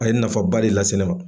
A ye nafaba de lase ne ma.